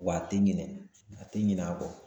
Wa a tɛ ɲinɛ, a tɛ ɲin'a kɔ